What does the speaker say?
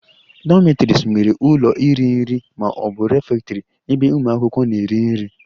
Dormitories nwere ụlọ iri nri ma ọ bụ refectory ebe ụmụ akwụkwọ na-eri nri